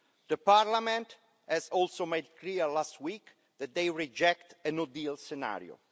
The parliament has also made clear last week that they reject a no-deal scenario.